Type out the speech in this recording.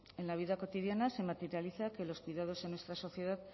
en la vida cotidiana se materializa que los cuidados en nuestra sociedad